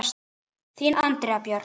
Þín Andrea Björk.